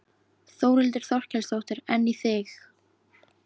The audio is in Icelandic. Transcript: Þórhildur Þorkelsdóttir: En í þig?